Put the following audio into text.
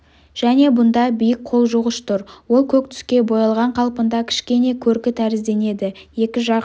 және бұнда биік қолжуғыш тұр ол көк түске боялған қалпында кішкене көркі тәрізденеді екі жақ